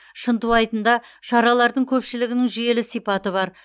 шынтуайтында шаралардың көпшілігінің жүйелі сипаты бар